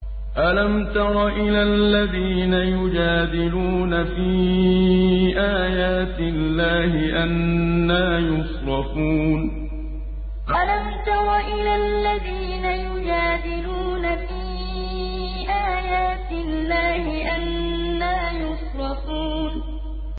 أَلَمْ تَرَ إِلَى الَّذِينَ يُجَادِلُونَ فِي آيَاتِ اللَّهِ أَنَّىٰ يُصْرَفُونَ أَلَمْ تَرَ إِلَى الَّذِينَ يُجَادِلُونَ فِي آيَاتِ اللَّهِ أَنَّىٰ يُصْرَفُونَ